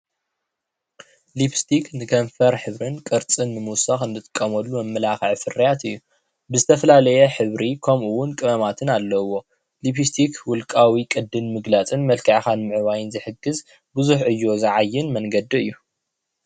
ሊፕስቲክ ንክንፍር ሕብርን ቅርፅን ንምውሳክ ንጥቀመሉ መመላክዒ ፍርያት እዩ። ብዝተፈላለየ ሕብሪ ከምኡ እውን ቅመማትን ኣለዎ። ሊፕስቲክ ውልቃዊ ቅዲ ንምግላፅን መልክዕካን ንምዕባይን ዝሕግዝ ብዙሕ ዕዮ ዝዓይ መንገዲ እዩ።